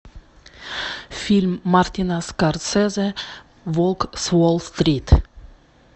фильм мартина скорсезе волк с уолл стрит